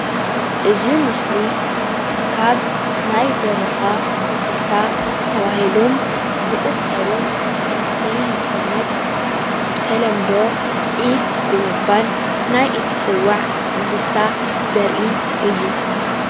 እዚ ምስሊ ካብ ናይ በረካ እንስሳ ተባሂሎም ዝቑፀሩ ሓንቲ ዝኾነት ብተለምዶ ዒፍ ብምባል ናይ እትፅዋዕ እንስሳ ዘርኢ እዩ::